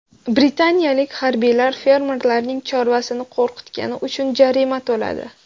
Britaniyalik harbiylar fermerlarning chorvasini qo‘rqitgani uchun jarima to‘ladi.